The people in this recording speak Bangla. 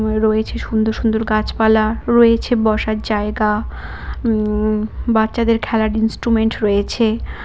রয়েছে সুন্দর সুন্দর গাছপালা রয়েছে বসার জায়গা উম বাচ্চাদের খেলার ইন্সট্রুমেন্ট রয়েছে।